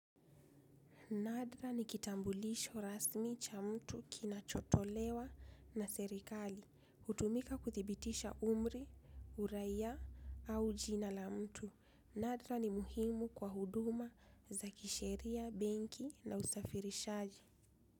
Nadra ni kitambulisho rasmi cha mtu kina chotolewa na serikali, utumika kuthibitisha umri, uraia au jina la mtu. Nadra ni muhimu kwa huduma za kisheria, benki na usafirishaji.